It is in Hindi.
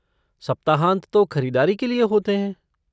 सप्ताहांत तो ख़रीदारी के लिए होते हैं!